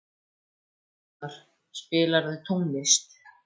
Einar, spilaðu tónlist.